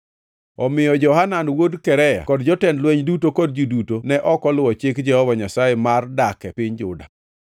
Omiyo Johanan wuod Karea kod jotend lweny duto kod ji duto ne ok oluwo chik Jehova Nyasaye mar dak e piny Juda.